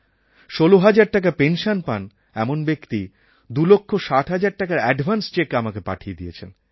১৬০০০ টাকা পেনসন পান এমন ব্যক্তি ২৬০০০০ টাকার অ্যাডভান্স চেক আমাকে পাঠিয়ে দিয়েছেন